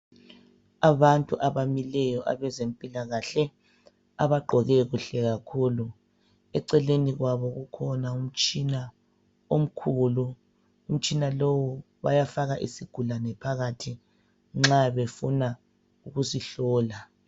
Abantu abamileyo abezempilakahle abagqoke kuhle kakhulu, eceleni kwabo kukhona umtshina omkhulu. Umtshina lowu bayafaka isigulane phakathi nxa befuna ukusihlola.